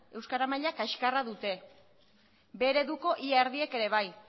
euskara maila kaxkarra dute b ereduko ia erdiek ere bai